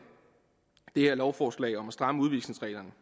det her lovforslag om at stramme udvisningsreglerne